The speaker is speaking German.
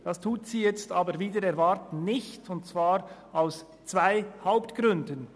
Das tut sie jedoch wider Erwarten nicht, und zwar aus zwei Hauptgründen: